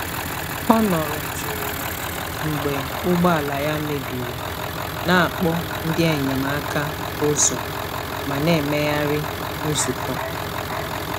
Ọ nọrọ jụụ mgbe ụgbọ ala ya mebiri, na-akpọ ndị enyemaka ụzọ ma na-emegharị nzukọ.